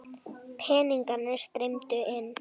Peningarnir streymdu inn.